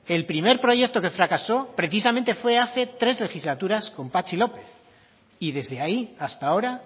el primer proyecto que fracasó precisamente fue hace tres legislaturas con patxi lópez y desde ahí hasta ahora